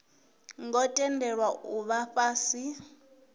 ngo tendelwa u vha fhasi